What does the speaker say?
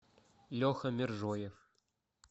леха мержоев